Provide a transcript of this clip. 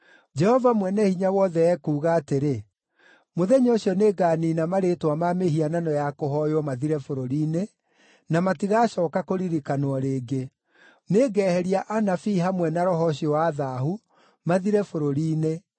Jehova Mwene-Hinya-Wothe ekuuga atĩrĩ, “Mũthenya ũcio nĩnganiina marĩĩtwa ma mĩhianano ya kũhooywo mathire bũrũri-inĩ, na matigacooka kũririkanwo rĩngĩ. Nĩngeheria anabii hamwe na roho ũcio wa thaahu, mathire bũrũri-inĩ.